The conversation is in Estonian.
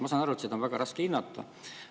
Ma saan aru, et seda on väga raske hinnata.